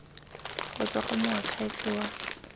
go tswa go moakhaefe wa